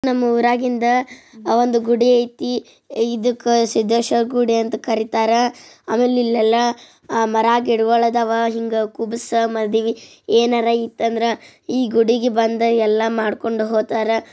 ನಮ್ಮೂರಾಗಿಂದ ಒಂದು ಗುಡಿಯ ಐತಿ ಇದಕ್ಕೆ ಸಿದ್ದೇಶ ಗುಡಿ ಅಂತ ಕರೀತಾರ ಆಮೇಲೆ ಇಲ್ಲೆಲ್ಲಾ ಮರ ಗಿಡಗಳ ಅದಾವ ಹಿಂಗ್ ಕುಬಸ್ ಮದ್ವಿ ಏನಾರ್ ಇತ್ತ್ ಅಂದರ್ ಇ ಗುಡಿಗ್ ಬಂದ್ ಎಲ್ಲ ಮಾಡ್ಕೊಂಡ್ ಹೋಗತ್ತಾರ.